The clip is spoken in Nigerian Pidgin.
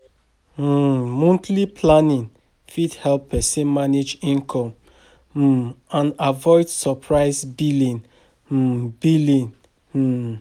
um Monthly planning fit help person manage income um and avoid surprise billing um billing um